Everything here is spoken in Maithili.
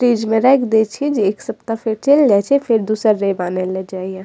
फ्रिज में राख दे छी जे एक सप्ताह फिर चैल जाय छै फिर दुसर रेब आने ले जाय या।